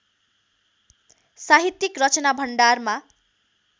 साहित्यिक रचना भण्डारमा